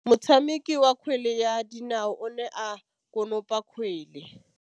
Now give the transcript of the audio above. Motshameki wa kgwele ya dinaô o ne a konopa kgwele.